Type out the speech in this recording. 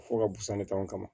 Fɔ ka busan ne kama